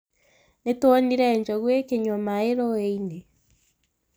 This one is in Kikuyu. Nĩtuonire njogu ikĩnyua maĩ ruĩ-inĩ